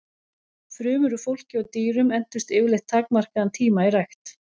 Frumur úr fólki og dýrum entust yfirleitt takmarkaðan tíma í rækt.